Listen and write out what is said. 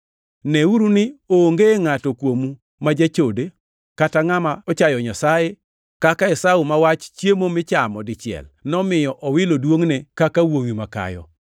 Neuru ni onge ngʼato kuomu ma jachode, kata ngʼama ochayo Nyasaye kaka Esau ma wach chiemo michamo dichiel nomiyo owilo duongʼne kaka wuowi makayo.